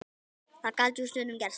Það gat jú stundum gerst!